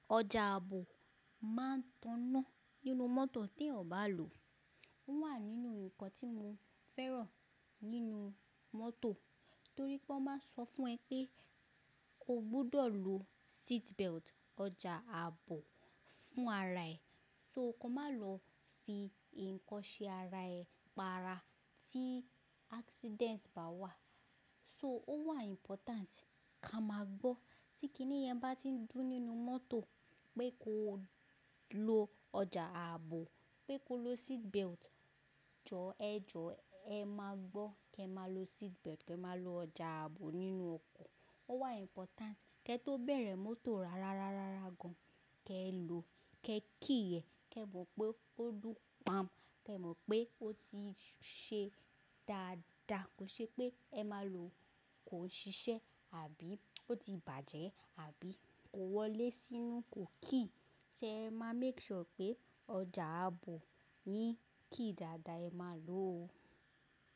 Ọjà ààbò máa ń tọ́nà nínú mọ́tò tí ẹ̀ ò bá lò. Ó wà nínú ǹkan tí mo fẹ́ràn nínú mọ́tò torí pé ó máa ń sọ fún ẹ pé o gbúdọ̀ lo seat belt. Ọjà ààbò fún ara ẹ̀, so kò má lọ fi ǹkan ṣe ara ẹ̀, pa ara tí accident bá wà. So ó wà important ká máa gbọ́ tí kiníyẹn bá ti ń dún nínú mọ́tò pé ko lo ọjà ààbò, pé ko lo seatbelt. Jọ ẹ jọ ẹ máa gbọ́ kí ẹ má lo seatbelt, kí ẹ má lo ọjà ààbò nínú ọkọ̀. Ó wà important kí ẹ tó bẹ̀rẹ̀ mọ́tò rárá gán, kí ẹ lo, kí ẹ key ẹ, kí ẹ mọ̀ pé ó dùn pam, kí ẹ mọ̀ pé ó ti ṣe dáadáa. Kò ṣe pé ẹ máa lò ó kó ṣiṣẹ́ àbí ó ti bàjẹ́ àbí kò wọlé sínú kò key. Ṣé ẹ máa make sure pé ọjà ààbò yín key dàda ẹ máa lò ó.